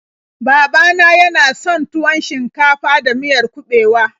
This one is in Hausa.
Baba na yana son tuwon shinkafa da miyar kuɓewa.